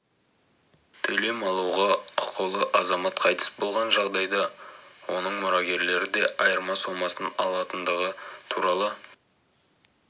төлем алуға құқылы азамат қайтыс болған жағдайда оның мұрагерлері де айырма сомасын ала алатындығы туралы